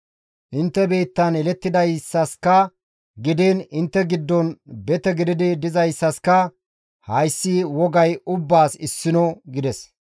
Intte biittan yelettidayssaska gidiin intte giddon bete gididi dizayssaska gidiin hayssi wogay ubbaas issino» gides.